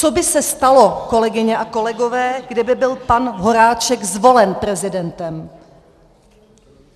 Co by se stalo, kolegyně a kolegové, kdyby byl pan Horáček zvolen prezidentem?